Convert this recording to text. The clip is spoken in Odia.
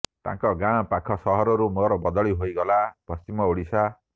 ତାଙ୍କ ଗାଁ ପାଖ ସହରରୁ ମୋର ବଦଳି ହୋଇଗଲା ପଶ୍ଚିମ ଓଡ଼ିଶା